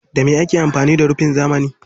Da me ake amfani da rufin zamani?